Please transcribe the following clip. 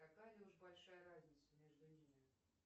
такая уж большая разница между ними